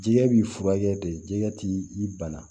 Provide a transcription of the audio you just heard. Jigɛ b'i furakɛ de jɛgɛ t'i bana